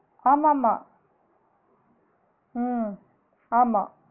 ஆமா ஆமா ஹம் ஆமா